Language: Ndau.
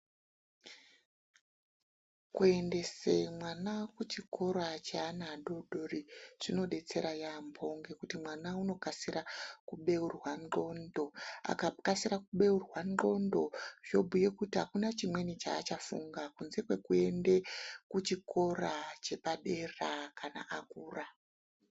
Kuendese mwana kuchikora cheana adodori , zvinodetsera yaampho ngekuti mwana unokasira kubeurwa ndxondo. Akakasira kubeurwa ndxondo zvobhuye kuti apana chimweni chaachafunga kunze kwekuende kuchikora chepadera kana akura .